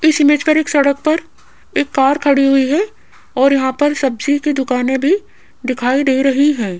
इस इमेज पर एक सड़क पर एक कार खड़ी हुई है और यहां पर सब्जी की दुकाने भी दिखाई दे रही है।